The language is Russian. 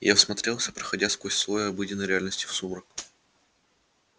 я всмотрелся проходя сквозь слой обыденной реальности в сумрак